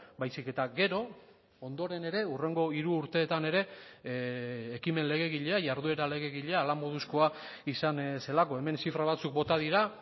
baizik eta gero ondoren ere hurrengo hiru urteetan ere ekimen legegilea jarduera legegilea hala moduzkoa izan zelako hemen zifra batzuk bota dira